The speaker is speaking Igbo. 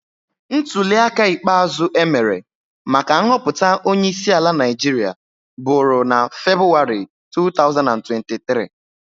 Ntulịaka ikpeazụ e mere maka nhọpụta onyeisiala Naijiria bụrụ na Febụwarị 2023